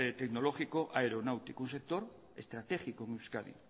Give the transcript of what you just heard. tecnológico aeronáutico un sector estratégico en euskadi